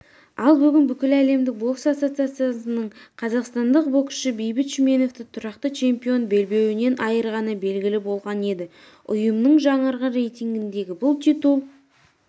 ал бүгін бүкіләлемдік бокс ассоциациясының қазақстандық боксшы бейбіт шүменовті тұрақты чемпион белбеуінен айырғаны белгілі болған еді ұйымның жаңарған рейтингінде бұл титул